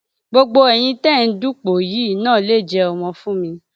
gbogbo ẹyin tẹ ẹ ń dupò yìí náà lè jẹ ọmọ fún mi